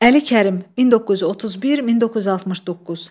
Əli Kərim, 1931-1969.